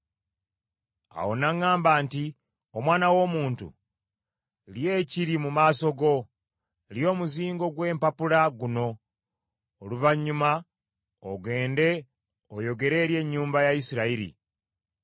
Awo n’aŋŋamba nti, “Omwana w’omuntu, lya ekiri mu maaso go, lya omuzingo gw’empapula guno; oluvannyuma ogende oyogere eri ennyumba ya Isirayiri.”